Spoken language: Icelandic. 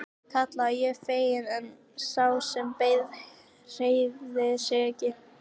kallaði ég fegin en sá sem beið hreyfði sig ekki.